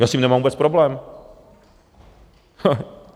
Já s tím nemám vůbec problém.